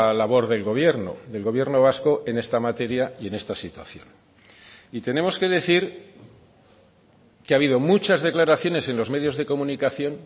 labor del gobierno del gobierno vasco en esta materia y en esta situación y tenemos que decir que ha habido muchas declaraciones en los medios de comunicación